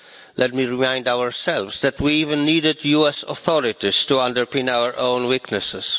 let me remind ourselves that we even needed the US authorities to shore up our own weaknesses.